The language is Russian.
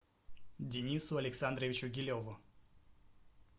денису александровичу гилеву